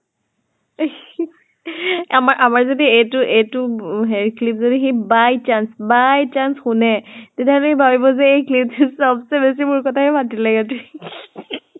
আমাৰ আমাৰ যদি এইটো বু clip য্দি by chance, by chance শুনে তেতিয়া হলে সি ভাবিব যে এই clip টোত চবচে বেছি মোৰ কথাই পাতিলে ইহঁতে